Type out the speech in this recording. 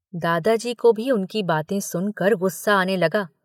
दादाजी को भी उनकी बातें सुनकर गुस्सा आने लगा।